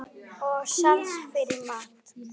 Og sans fyrir mat.